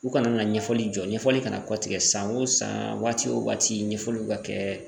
U kana na ɲɛfɔli jɔ ɲɛfɔli kana kɔ tigɛ san o san waati o waati ɲɛfɔliw ka kɛ